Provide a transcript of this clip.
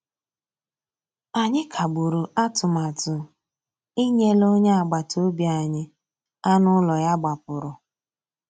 Ànyị́ kàgbùrụ́ àtụ̀màtụ́ ìnyélè ónyé àgbàtà òbí ànyị́ ànú ụ́lọ́ yá gbàpùrụ́.